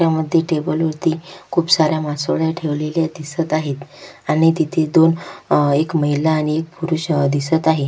चित्रमध्ये table वरती खुप साऱ्या मासोळ्या ठेवलेल्या दिसत आहेत आणि तिथे दोन अ एक महिला आणि एक पुरुष दिसत आहेत.